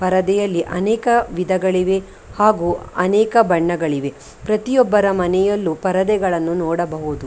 ಪರದೆಯಲ್ಲಿ ಅನೇಕ ವಿಧಗಳಿವೆ ಹಾಗು ಅನೇಕ ಬಣ್ಣಗಳಿವೆ ಪ್ರತಿಯೊಬ್ಬರ ಮನೆಯಲ್ಲೂ ಪರದೆಗಳನ್ನು ನೋಡಬಹುದು .